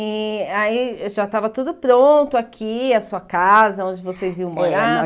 E aí já estava tudo pronto aqui, a sua casa, onde vocês iam morar? É